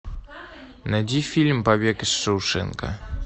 найди фильм побег из шоушенка